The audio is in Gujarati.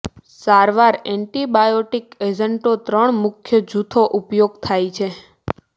સારવાર એન્ટિબાયોટિક એજન્ટો ત્રણ મુખ્ય જૂથો ઉપયોગ થાય છે